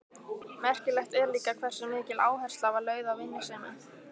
Merkilegt er líka hversu mikil áhersla var lögð á vinnusemi.